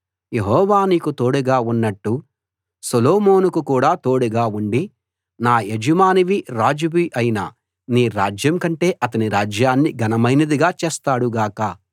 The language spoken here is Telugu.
యెహోవా నీకు తోడుగా ఉన్నట్టు సొలొమోనుకు కూడా తోడుగా ఉండి నా యజమానివీ రాజువీ అయిన నీ రాజ్యం కంటే అతని రాజ్యాన్ని ఘనమైనదిగా చేస్తాడు గాక